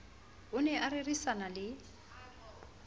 o ne a rerisana le